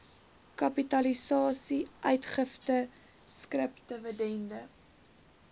kapitalisasie uitgifte skripdividende